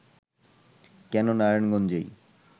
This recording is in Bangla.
কেন নারায়ণগঞ্জেই